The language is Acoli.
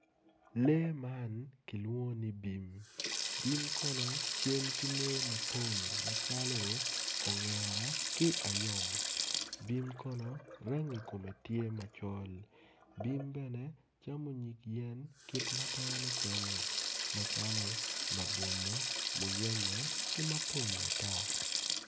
Lee man kilwongo ni bim bim kono cal ki lee mapol macalo ongera ki ayom bim kono rangi kome tye macol bim bene camo nyig yen kit ma dano camo macalo labolo muyeme ki mukene mapol ata